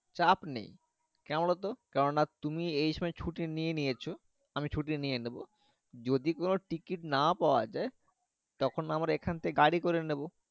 চাপ নেই কোনো বোলো তো তুমি এই সময় ছুটি নিয়ে নিয়েছো আমি ছুটি নিয়ে নিবো যদি কোনো Tickit না পাওয়া যাই তখন আমরা এখান গাড়ি করে নেবো।